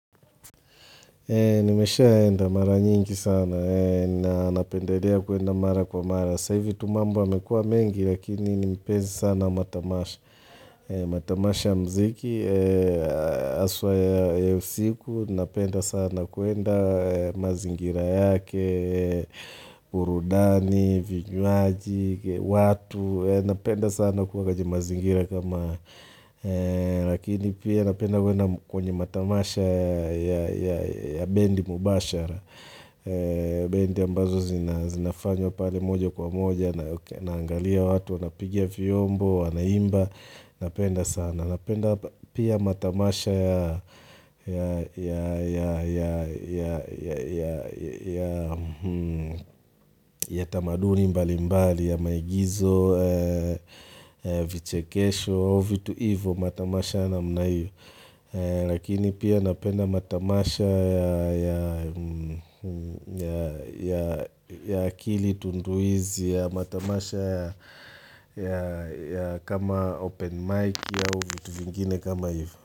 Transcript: Nimesha enda mara nyingi sana, napendelea kuenda mara kwa mara. Saivi tumambo amekua mengi, lakini nipenzi sana matamasha. Matamasha mziki, aswa ya usiku, napenda sana kuenda mazingira yake, burudani, vinyuaji, watu. Napenda sana kuwa kwenye mazingira kama Lakini pia napenda kwenye matamasha ya bendi mubashara Bendi ambazo zinafanywa pale moja kwa moja Naangalia watu, wanapigia fiyombo, wanaimba Napenda sana Napenda pia matamasha ya ya ya tamaduni mbali mbali ya maigizo, vichekesho, huo vitu ivo matamasha na mnaio. Lakini pia napenda matamasha ya ya akili tunduizi, ya matamasha ya kama open mic au vitu vingine kama ivo.